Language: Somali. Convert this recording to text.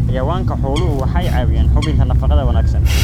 Xayawaanka xooluhu waxay caawiyaan hubinta nafaqada wanaagsan.